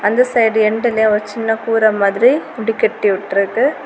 அந்த சைடு என்டுல ஒரு சின்ன கூரை மாதிரி முடி கட்டி விட்ருக்கு.